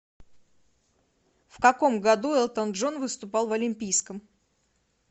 в каком году элтон джон выступал в олимпийском